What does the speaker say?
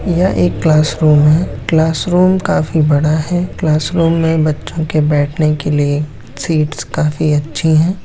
यह एक क्लासरूम है क्लासरूम काफी बड़ा है क्लासरूम में बच्चों के बैठने के लिए सीट्स काफी अच्छी है।